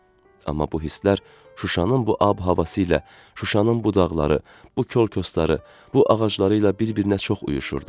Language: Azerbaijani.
Amma bu hisslər Şuşanın bu ab-havası ilə, Şuşanın bu dağları, bu kəlkosları, bu ağacları ilə bir-birinə çox uyuşurdu.